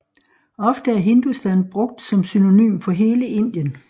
Ofte er Hindustan brugt som synonym for hele Indien